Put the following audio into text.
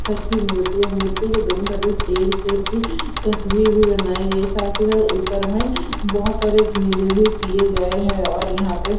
ठरकी मूर्ति है और मूर्ति की दोनों ठुमब मे टेर शेर की तस्वीर भी बनाई गई है साथ ही साथ ऊपर मे बोहोत सारे घेरे भी किए गए है और यहा पे।